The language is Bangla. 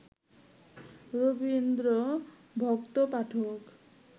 রবীন্দ্রভক্ত পাঠক